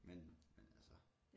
Men men altså